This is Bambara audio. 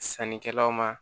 Sannikɛlaw ma